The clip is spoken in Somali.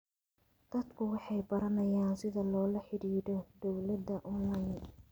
Dadku waxay baranayaan sida loola xidhiidho dawladda onlayn.